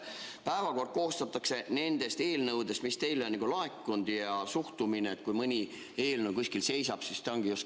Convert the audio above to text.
Päevakord koostatakse nendest eelnõudest, mis teile on juba laekunud, ja suhtumine, et kui mõni eelnõu kuskil seisab, siis ta nii ongi.